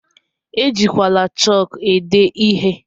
Ejikwala chọk ede ihe!